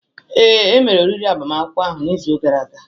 Ee, e mere oriri agbamakwụkwọ ahụ n'izu gara aga.